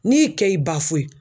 N'i kɛ y'i